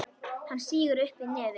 Hún sýgur upp í nefið.